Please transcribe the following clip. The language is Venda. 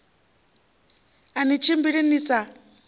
a ni tshimbili ni sa